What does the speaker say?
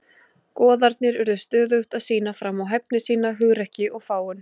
Goðarnir urðu stöðugt að sýna fram á hæfni sína, hugrekki og fágun.